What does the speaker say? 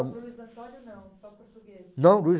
O Luiz Antônio não, só português. Não Luis